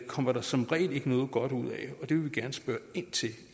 kommer der som regel ikke noget godt ud af og det vil vi gerne spørge ind til